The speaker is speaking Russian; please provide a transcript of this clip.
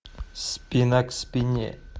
спина к спине